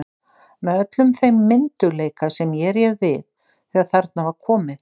Með öllum þeim myndugleika sem ég réð við þegar þarna var komið.